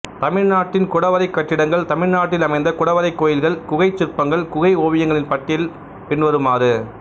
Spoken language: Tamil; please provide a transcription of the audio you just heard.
தமிழ்நாட்டின் குடைவரை கட்டிடங்கள் தமிழ்நாட்டில் அமைந்த குடைவரைக் கோயில்கள் குகைச் சிற்பங்கள் குகை ஓவியங்களின் பட்டியல் பின்வருமாறு